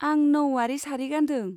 आं नऊवारी सारि गान्दों।